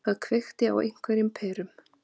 Það kveikti á einhverjum perum.